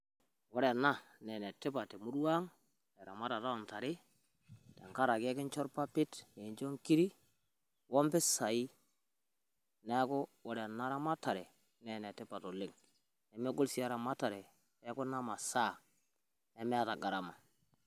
Ore ena naa enetipat te murua ang eramatata oo ntare tenkaraki ekincho ilpapit, nikincho nkirik o mpisai niaku ore ena ramatare naa ene tipat oleng nemegol sii eramatare ekuna masaa nemeeta gharama.